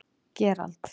Gerald